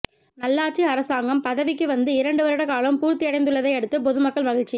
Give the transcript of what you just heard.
நல்லாட்சி அரசாங்கம் பதவிக்கு வந்து இரண்டு வருட காலம் பூர்த்தியடைந்துள்ளதையடுத்து பொதுமக்கள் மகிழ்ச்சி